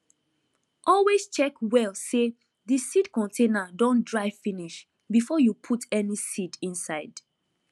always check well say the seed container don dry finish before you put any seed inside